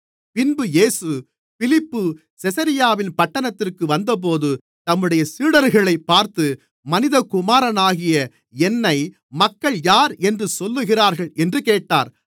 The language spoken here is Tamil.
பின்பு இயேசு பிலிப்பு செசரியாவின் பட்டணத்திற்கு வந்தபோது தம்முடைய சீடர்களைப் பார்த்து மனிதகுமாரனாகிய என்னை மக்கள் யார் என்று சொல்லுகிறார்கள் என்று கேட்டார்